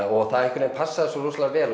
og það passaði svo rosalega vel